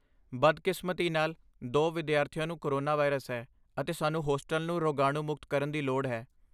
ਬਦਕਿਸਮਤੀ ਨਾਲ, ਦੋ ਵਿਦਿਆਰਥੀਆਂ ਨੂੰ ਕੋਰੋਨਾ ਵਾਇਰਸ ਹੈ, ਅਤੇ ਸਾਨੂੰ ਹੋਸਟਲ ਨੂੰ ਰੋਗਾਣੂ ਮੁਕਤ ਕਰਨ ਦੀ ਲੋੜ ਹੈ।